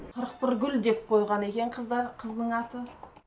қырықбіргүл деп қойған екен қыздар қыздың аты